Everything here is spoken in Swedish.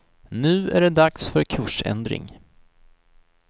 Nu är det dags för kursändring.